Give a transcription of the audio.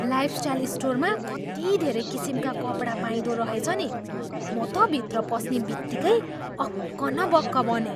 Lifestyle स्टोरमा कति धेरै किसिमका कपडा पाइँदो रहेछ नि! म त भित्र पस्ने बित्तिकै अक्क न बक्क बनेँ।